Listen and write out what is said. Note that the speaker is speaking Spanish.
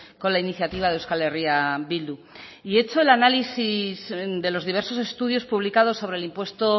con la iniciativa de euskal herria bildu y hecho el análisis de los diversos estudios publicados sobre el impuesto